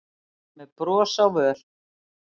með bros á vör.